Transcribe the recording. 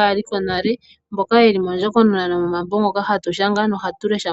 aakulu yonale mboka yeli mondjokonona yomambo ngoka hatu lesha.